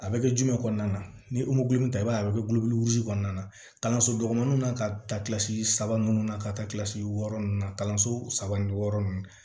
A bɛ kɛ jumɛn kɔnɔna na ni ta i b'a ye a bɛ kɛ kɔnɔna na kalanso dɔgɔninw na ka taa saba ninnu na ka taa kilasi wɔɔrɔ ninnu na kalanso saba ni wɔɔrɔ ninnu